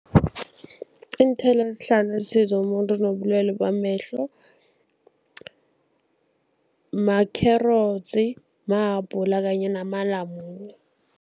Iinthelo ezihlanu ezisiza umuntu onobulwele bamehlo makherotsi, mahabhula kanye namalamune.